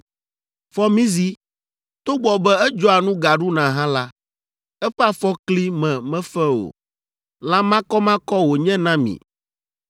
Fɔmizi, togbɔ be edzɔa nu gaɖuna hã la, eƒe afɔkli me mefe o. Lã makɔmakɔ wònye na mi.